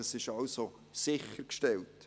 Das ist also sichergestellt.